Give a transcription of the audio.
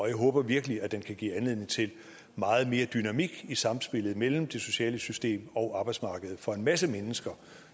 jeg håber virkelig den kan give anledning til meget mere dynamik i samspillet mellem det sociale system og arbejdsmarkedet for en masse mennesker